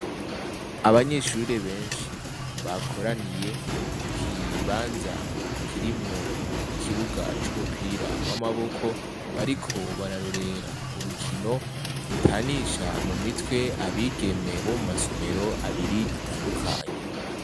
Abanyeshure benshi bakoraniye kukibanza kirimwo ikibuga c'umupira w'amaboko bariko bararorera urukino rutanisha mumitwe abigeme bo mumasomero abiri atandukanye.